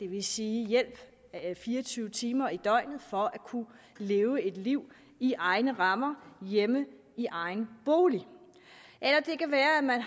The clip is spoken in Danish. vil sige hjælp fire og tyve timer i døgnet for at kunne leve et liv i egne rammer hjemme i egen bolig eller det kan være at man